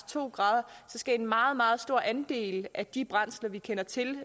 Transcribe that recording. to grader skal en meget meget stor andel af de brændsler vi kender til